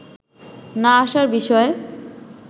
না আসার বিষয়ে